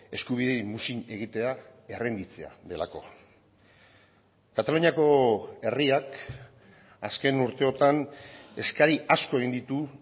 eskubideei muzin egitea errenditzea delako kataluniako herriak azken urteotan eskari asko egin ditu